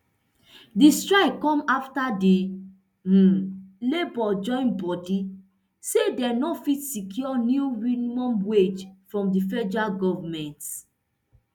di strike come afta di um labour join bodi say dem no fit secure new minimum wage from di federal goment